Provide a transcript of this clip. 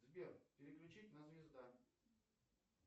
сбер переключить на звезда